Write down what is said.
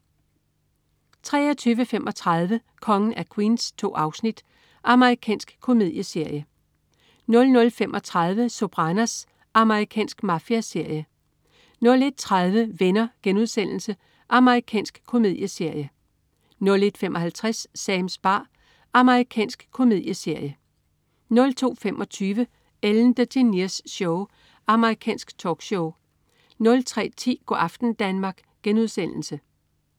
23.35 Kongen af Queens. 2 afsnit. Amerikansk komedieserie 00.35 Sopranos. Amerikansk mafiaserie 01.30 Venner.* Amerikansk komedieserie 01.55 Sams bar. Amerikansk komedieserie 02.25 Ellen DeGeneres Show. Amerikansk talkshow 03.10 Go' aften Danmark*